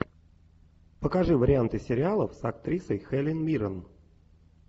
покажи варианты сериалов с актрисой хелен миррен